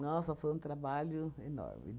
foi um trabalho enorme.